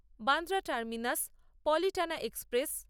Bandra terminus Palitana express